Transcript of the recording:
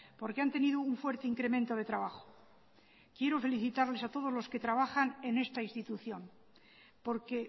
porque han tenido un fuerte incremento de trabajo quiero felicitarles a todos los que trabajan en esta institución porque